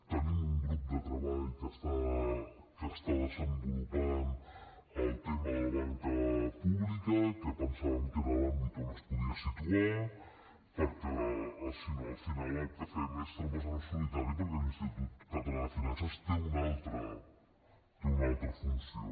tenim un grup de treball que està desenvolupant el tema de la banca pública que pensàvem que era l’àmbit on es podia situar perquè si no al final el que fem són trampes al solitari perquè l’institut català de finances té un altra funció